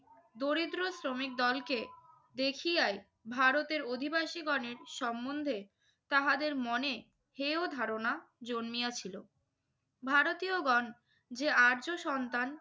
দরিদ্র শ্রমিকদলকে দেখিয়াই ভারতীয় অধিবাসীগণের সম্বন্ধে তাহাদের মনে হেয় ধারণা জন্মিয়াছিল। ভারতীয়গণ যে আর্য সন্তান